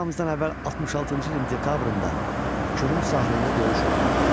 Eramızdan əvvəl 66-cı ilin dekabrında Kürün sahilində döyüş oldu.